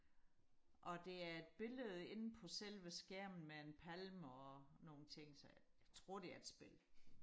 og det er et billede inde på selve skærmen med en palme og nogle ting så jeg tror det er et spil